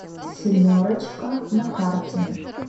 семерочка на карте